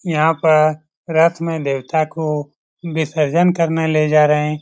यहां पर रात में देवता को विसर्जन करने ले जा रहे ।